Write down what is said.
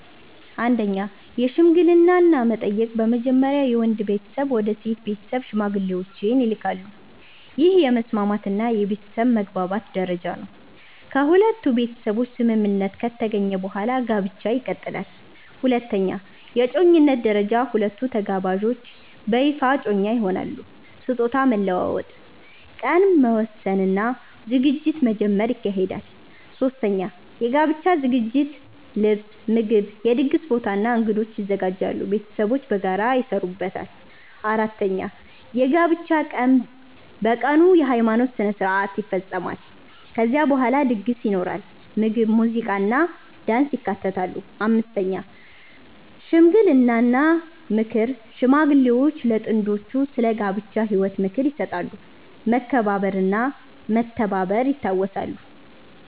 1) የሽምግልና እና መጠየቅ በመጀመሪያ የወንድ ቤተሰብ ወደ ሴት ቤተሰብ ሽማግሌዎችን ይልካሉ። ይህ የመስማማት እና የቤተሰብ መግባባት ደረጃ ነው። ከሁለቱ ቤተሰቦች ስምምነት ከተገኘ በኋላ ጋብቻ ይቀጥላል። 2) የእጮኝነት ደረጃ ሁለቱ ተጋባዦች በይፋ እጮኛ ይሆናሉ። ስጦታ መለዋወጥ፣ ቀን መወሰን እና ዝግጅት መጀመር ይካሄዳል። 3) የጋብቻ ዝግጅት ልብስ፣ ምግብ፣ የድግስ ቦታ እና እንግዶች ይዘጋጃሉ። ቤተሰቦች በጋራ ይሰሩበታል። 4) የጋብቻ ቀን በቀኑ የሃይማኖት ሥነ ሥርዓት (ቤተክርስቲያን ወይም መስጊድ) ይፈጸማል። ከዚያ በኋላ ድግስ ይኖራል፣ ምግብ፣ ሙዚቃ እና ዳንስ ይካተታሉ። 5) ሽምግልና እና ምክር ሽማግሌዎች ለጥንዶቹ ስለ ጋብቻ ህይወት ምክር ይሰጣሉ፣ መከባበር እና መተባበር ይታወሳሉ።